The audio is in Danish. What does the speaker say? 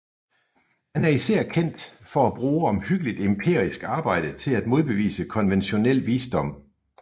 Han er især kendt for at bruge omhyggeligt empirisk arbejde til at modbevise konventionel visdom